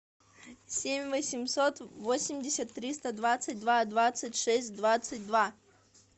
семь восемьсот восемьдесят триста двадцать два двадцать шесть двадцать два